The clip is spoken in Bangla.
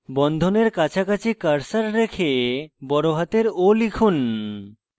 বন্ধনের কাছাকাছি cursor রেখে বড়হাতের o লিখুন